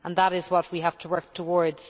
That is what we have to work towards.